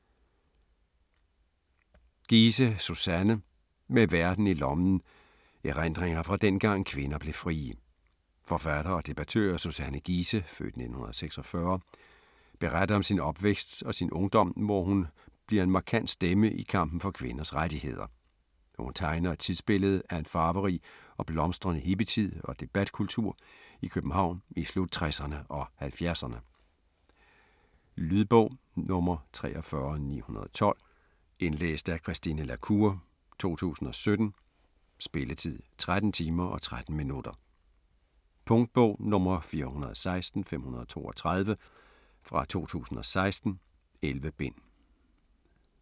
Giese, Suzanne: Med verden i lommen: erindringer fra dengang kvinder blev frie Forfatter og debattør Suzanne Giese (f. 1946) beretter om sin opvækst og sin ungdom hvor hun bliver en markant stemme i kampen for kvinders rettigheder. Hun tegner et tidsbillede af en farverig og blomstrende hippietid og debatkultur i København i slut-60erne og 70erne. Lydbog 43912 Indlæst af Christine la Cour, 2017. Spilletid: 13 timer, 13 minutter. Punktbog 416532 2016. 11 bind.